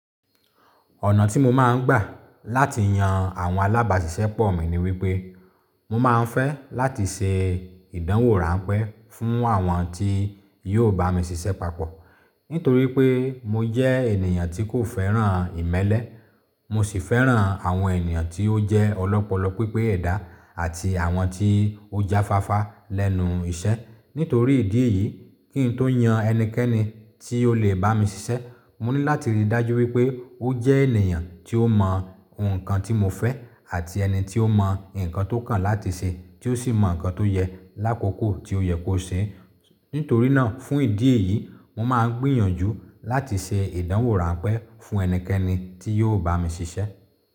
Ọ̀nà tí mo máa ń gbà láti yan àwọn alábàáṣiṣẹ́pọ̀ mi ni wípé, mo máa ń fẹ́ láti ṣe ìdánwò ránpẹ́ fún àwọn tí yóò bá mi ṣiṣẹ́ papọ̀. Nítorí pé mo jẹ́ ènìyàn tí kò fẹ́ràn ìmẹ́lẹ́, mo sì fẹ́ràn àwọn ènìyàn tí ó jẹ́ ọlọ́pọlọ pípé ẹ̀dá àti àwọn tí ó jáfáfá lẹ́nu iṣẹ́. Nítorí ìdí èyí, kí n tó yan ẹnikẹ́ni tí ó lè bá mi ṣiṣẹ́, mo ní láti rí i dájú wípé ó jẹ́ ènìyàn tí ó mọ ohun nǹkan tí mo fẹ́ àti ẹni tí ó mọ nǹkan tó kàn láti ṣe tí ó sì mọ nǹkan tó yẹ lákoko tí ó yẹ kó ṣe. Nítorí náà, fún ìdí èyí, mo máa ń gbìyànjú láti ṣe ìdánwò ránpẹ́ fún ẹnikẹ́ni tí yóò bá mi ṣiṣẹ́.